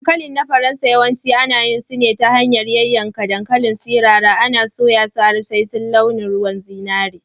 Dankalin na Faransa, yawanci ana yin su ta hanyar yankan dankalin sirara, ana soya su har sai launin ruwan zinari.